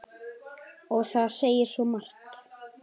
Og það segir svo margt.